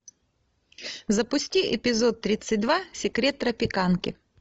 запусти эпизод тридцать два секрет тропиканки